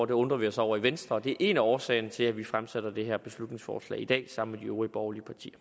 det undrer vi os over i venstre og det er en af årsagerne til at vi fremsætter det her beslutningsforslag i dag sammen med de øvrige borgerlige partier